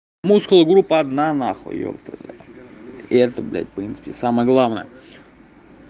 мускулы группа одна нахуй ёпта бля и это в блядь в принципе самое главное